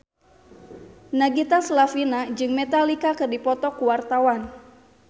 Nagita Slavina jeung Metallica keur dipoto ku wartawan